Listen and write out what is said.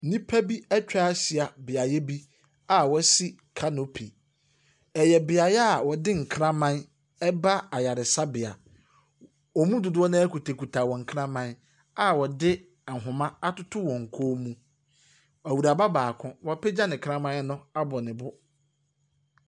Nnipa bi atwa ahyia beaeɛ bi a wɔasi canopy. Ɛyɛ beaeɛ a wɔde nkraman ba ayaresabea. Wɔn mu dodoɔ no ara kutakuta wɔn kraman a wɔde ahoma atoto wɔn kɔn mu. Awuraba baako, wapagya ne kraman no abɔ ne bo.